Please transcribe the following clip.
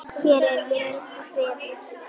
Hér er vel kveðið!